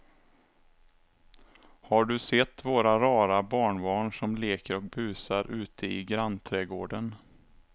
Har du sett våra rara barnbarn som leker och busar ute i grannträdgården!